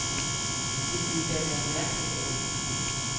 Det ville da være mærkeligt andet.